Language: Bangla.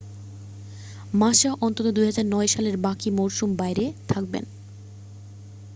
মাসা অন্তত 2009 সালের বাকি মরসুম বাইরে থাকবেন